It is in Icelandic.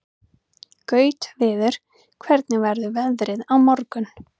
Gautviður, hvernig verður veðrið á morgun?